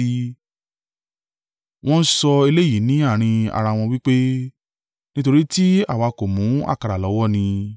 Wọ́n ń sọ eléyìí ni àárín ara wọn wí pé, “Nítorí tí àwa kò mú àkàrà lọ́wọ́ ni.”